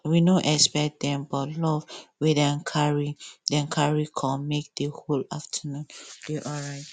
we no expect dem but love wey dem carry dem carry com make the whole afternoon dey alright